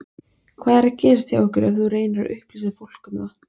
Hvað er að gerast hjá ykkur ef þú reynir að upplýsa fólk um það?